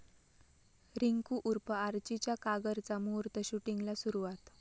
रिंकू उर्फ आर्चीच्या 'कागर'चा मुहूर्त, शूटिंगला सुरुवात